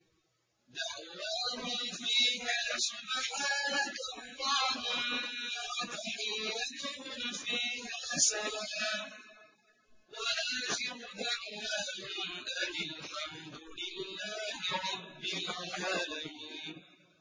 دَعْوَاهُمْ فِيهَا سُبْحَانَكَ اللَّهُمَّ وَتَحِيَّتُهُمْ فِيهَا سَلَامٌ ۚ وَآخِرُ دَعْوَاهُمْ أَنِ الْحَمْدُ لِلَّهِ رَبِّ الْعَالَمِينَ